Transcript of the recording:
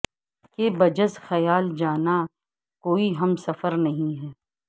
کہ بجز خیال جاناں کوئی ہم سفر نہیں ہے